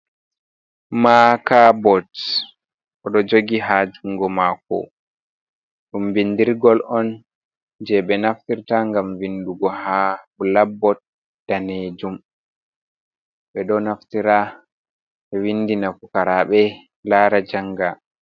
Maaca bots o do jogi ha jungo mako. Dum bindirgol on je be naftirta gam vindugo ha bulakbot danejum. Be do naftira be vindina PUKARABE lara janga.